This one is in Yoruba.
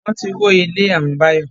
Wọ́n ti wó ilé àwọn Bayo